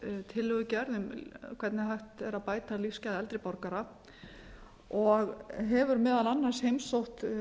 tillögugerð um hvernig hægt er að bæta lífsgæði eldri borgara og hefur meðal annars heimsótt